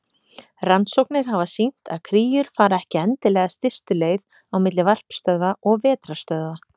Rannsóknir hafa sýnt að kríur fara ekki endilega stystu leið á milli varpstöðva og vetrarstöðva.